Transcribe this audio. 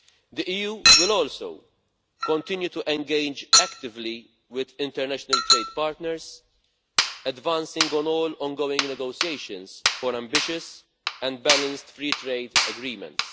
The EU will also continue to engage actively with international trade partners, advancing on all ongoing negotiations for ambitious and balanced free trade agreements.